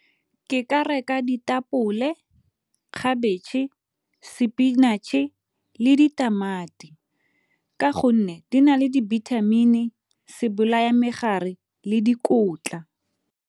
Ke ka reka ditapole, khabetšhe, spinatšhe le ditamati ka gonne di na le dibithamini, sebolayamegare le dikotla.